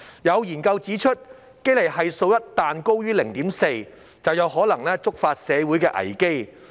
有研究指出，堅尼系數一旦高於 0.4， 便有可能觸發社會危機。